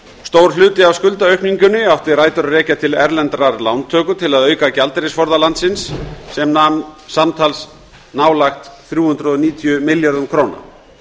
stór hluti af skuldaaukningunni átti rætur að rekja til erlendrar lántöku til að auka gjaldeyrisforða landsins sem nam samtals nálægt þrjú hundruð níutíu milljörðum króna